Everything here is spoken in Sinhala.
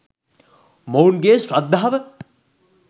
මොවුන්ගේ ශ්‍රද්ධාව